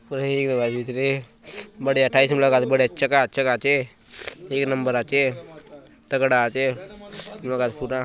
कुंडहि हई गलाय चत भीतरे बढ़िया टाई टल लगाय बढ़िया चका चक आचे एक नंबर आचे तगड़ा आचे माहौल पूरा --